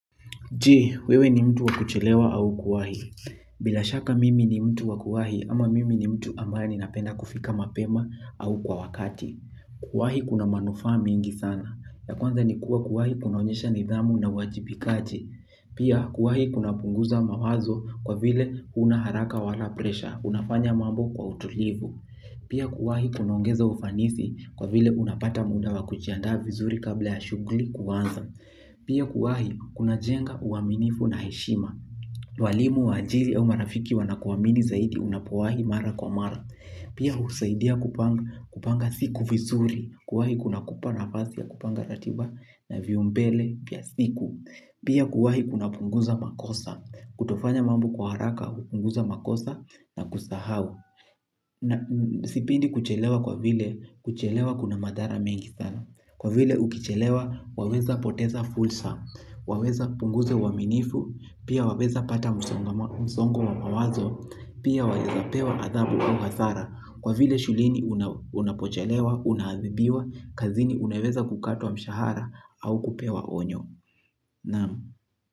Je, wewe ni mtu wakuchelewa au kuwahi. Bila shaka mimi ni mtu wakuwahi ama mimi ni mtu ambaye ninapenda kufika mapema au kwa wakati. Kuwahi kuna manufaa mingi sana. Ya kwanza ni kuwa kuwahi kunaonyesha nidhamu na uwajibikaji. Pia kuwahi kuna punguza mawazo kwa vile unaharaka wala presha. Unafanya mambo kwa utulivu. Pia kuwahi kunaongeza ufanisi kwa vile unapata muda wakujiandaa vizuri kabla ya shuguli kuanza. Pia kuwahi kuna jenga uaminifu na heshima. Walimu wa ajiri au marafiki wanakuamini zaidi unapowahi mara kwa mara. Pia husaidia kupanga siku visuri kuwahi kuna kupa nafasi ya kupanga ratiba na viumbele pia siku. Pia kuwahi kuna punguza makosa. Kutofanya mambo kwa haraka, hunguza makosa na kusahau. Sipendi kuchelewa kwa vile kuchelewa kuna madhara mengi sana. Kwa vile ukichelewa, waweza poteza fursa, waweza punguza uwaminifu, pia waweza pata msongo wa mawazo, pia waweza pewa adhabu au hasara. Kwa vile shuleni unapochelewa, una adhibiwa, kazini unaweza kukatwa mshahara au kupewa onyo. Naam.